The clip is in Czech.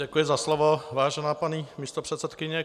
Děkuji za slovo, vážená paní místopředsedkyně.